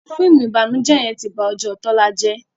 fíìmù ìbànújẹ yén tí bá Ojó Tola jé